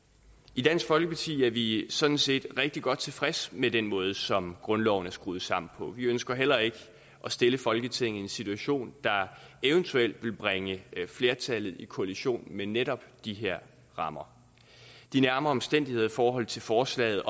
i dansk folkeparti er vi sådan set rigtig godt tilfredse med den måde som grundloven er skruet sammen på vi ønsker heller ikke at stille folketinget i en situation der eventuelt vil bringe flertallet i kollision med netop de her rammer de nærmere omstændigheder i forhold til forslaget